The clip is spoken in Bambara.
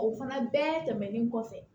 O fana bɛɛ tɛmɛnen kɔfɛ